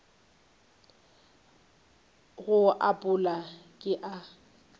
go a pala ke a